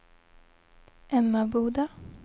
Emmaboda